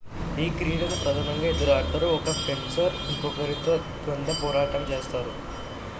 ఈ క్రీడను ప్రధానంగా ఇద్దరు ఆడతారు ఒక ఫెన్సర్ ఇంకొకరితో ద్వంద్వ పోరాటం చేస్తారు